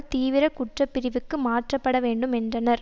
தீவிர குற்றப்பிரிவுக்கு மாற்றப்பட வேண்டும் என்றனர்